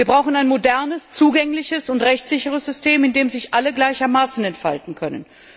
Wir brauchen ein modernes, zugängliches und rechtssicheres System, in dem sich alle gleichermaßen entfalten können.